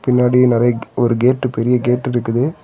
பின்னாடி நரை ஒரு கேட்டு பெரிய கேட்டு இருக்குது.